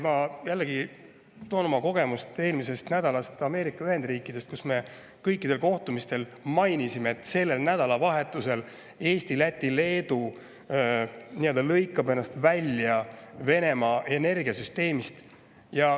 Ma jällegi toon näiteks oma kogemuse eelmisest nädalast Ameerika Ühendriikides, kus me kõikidel kohtumistel mainisime, et sellel nädalavahetusel Eesti, Läti ja Leedu nii-öelda lõikavad ennast välja Venemaa energiasüsteemist.